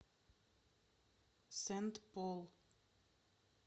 сент пол